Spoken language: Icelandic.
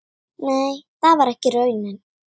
Nei, það var ekki raunin.